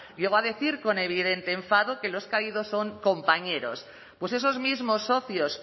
llegó a decir con evidente enfado que los caídos son compañeros pues esos mismos socios